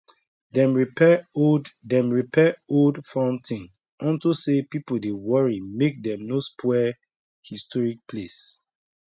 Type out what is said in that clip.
dem repair old dem repair old fountain unto say people dey worry make dem no spoil historic place